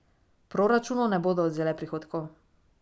Proračunu ne bodo odvzele prihodkov.